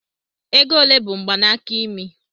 Ego ole bụ mgbanaka imi?